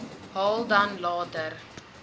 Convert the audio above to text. haal dan later